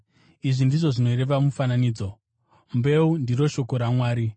“Izvi ndizvo zvinoreva mufananidzo: Mbeu ndiro shoko raMwari.